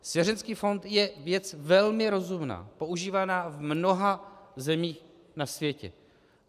Svěřenecký fond je věc velmi rozumná, používaná v mnoha zemích na světě.